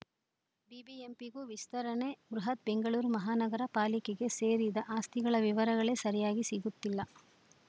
ಬಿಬಿಎಂಪಿಗೂ ವಿಸ್ತರಣೆ ಬೃಹತ್‌ ಬೆಂಗಳೂರು ಮಹಾನಗರ ಪಾಲಿಕೆಗೆ ಸೇರಿದ ಆಸ್ತಿಗಳ ವಿವರಗಳೇ ಸರಿಯಾಗಿ ಸಿಗುತ್ತಿಲ್ಲ